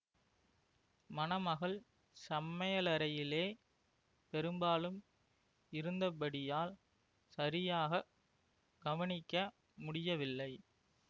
மணமகள் சமையலறையிலே பெரும்பாலும் இருந்தபடியால் சரியாக கவனிக்க முடியவில்லை